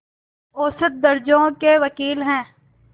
औसत दर्ज़े के वक़ील हैं